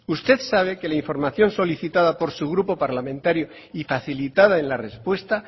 usted sabe que la información solicitada por su grupo parlamentario y facilitada en la respuesta